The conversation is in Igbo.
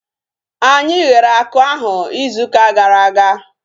Anyị ghere akụ ahu izu ụka gara aga